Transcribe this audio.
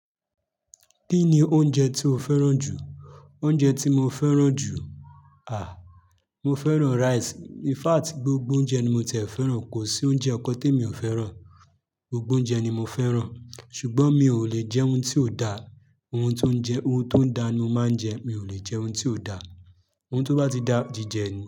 Kí ni oúnjẹ tí o fẹ́ràn jù? Oúnjẹ tí mo fẹ́ràn jù? À, mo fẹ́ràn rice. In fact, gbogbo oúnjẹ ni mo ti ẹ̀ fẹ́ràn. Kò sí oúnjẹ kàn témi ò fẹ́ràn. Gbogbo oúnjẹ ni mo fẹ́ràn. Ṣùgbọ́n mi ò lè jẹ́ oun tí ò da. Ohun tó ń jẹ́, ohun tó da ni mo máa ń jẹ. Mi ò lè jẹ́ oun tí ò da. Ohun tí ó bá ti da jí jẹ ni.